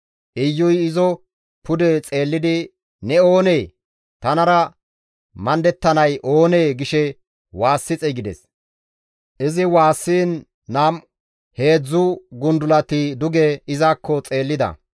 Iyuy izo pude xeellidi, «Ne oonee?» Tanara maadettanay oonee? gishe waassi xeygides. Izi waassiin nam7u woykko heedzdzu gundulati duge izakko xeellida.